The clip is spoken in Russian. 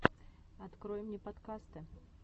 открой мне подкасты